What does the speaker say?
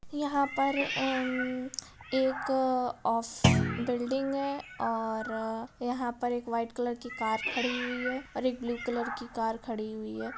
यहा पर अम्म एक अ ओफ बील्डींग है और यहा पर एक व्हाईट कलर की कार खडी हुई हे ओर एक ब्लू कलर कि कार खडी हुई है।